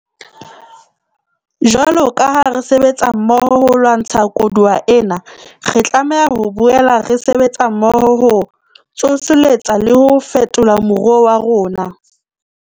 Jwalo ka ha re sebetsa mmoho ho lwantsha koduwa ena, re tlameha ho boela re sebetsa mmoho ho tsoseletsa le ho fetola moruo wa rona.